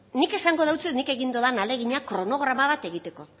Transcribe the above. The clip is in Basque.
nik esango deutsuet nik egin dudan ahalegina kronograma bat egiteko